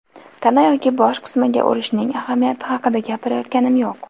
Tana yoki bosh qismiga urishning ahamiyati haqida gapirayotganim yo‘q.